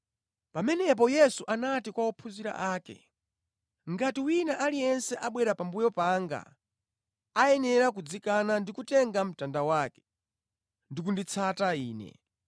Pamenepo Yesu anati kwa ophunzira ake, “Ngati wina aliyense abwera pambuyo panga ayenera kudzikana ndi kutenga mtanda wake ndi kunditsata Ine.